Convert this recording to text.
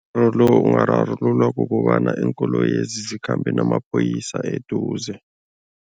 Umraro lo ungararululwa kukobana iinkoloyezi zikhambe namaphoyisa eduze.